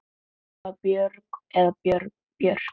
Er það Björg eða Björk?